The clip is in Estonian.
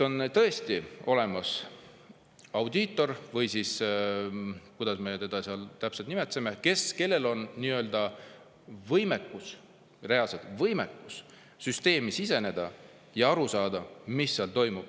On tõesti olemas audiitor või kuidas me teda täpselt nimetasimegi, kellel on reaalselt võimekus süsteemi siseneda ja aru saada, mis seal toimub.